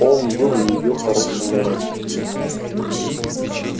он был её хорошим мэром